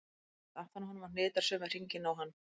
Hún læðist aftan að honum og hnitar sömu hringina og hann.